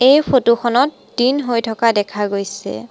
এই ফটো খনত দিন হৈ থকা দেখা গৈছে।